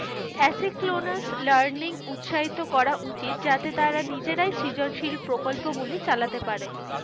Asynchronous learning উৎসাহিত করা উচিত যাতে তারা নিজেরাই সৃজলসিল প্রকল্পগুলি চালাতে পারে,